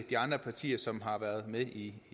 de andre partier som har været med i